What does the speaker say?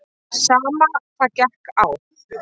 Sama hvað gekk á.